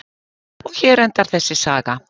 Og hér endar þessi saga.